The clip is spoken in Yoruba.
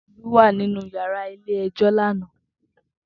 Tobi wá ninú iyàrá ilé èjò làná